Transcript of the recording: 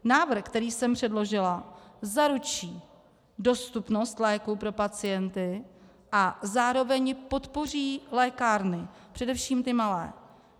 Návrh, který jsem předložila, zaručí dostupnost léků pro pacienty a zároveň podpoří lékárny, především ty malé.